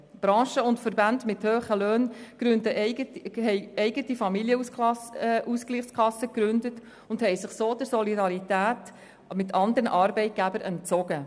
Branchen und Verbände mit hohen Löhnen haben eigene Familienausgleichskassen gegründet und sich so der Solidarität mit anderen Arbeitgebern entzogen.